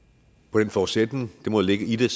den forudsætning der må ligge i det